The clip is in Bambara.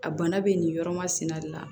A bana bɛ nin yɔrɔ masina de la